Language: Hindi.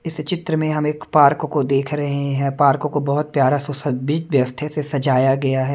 इस चित्र में हम एक पार्क को देख रहे हैं पार्क को बहुत प्यारा से सजाया गया है।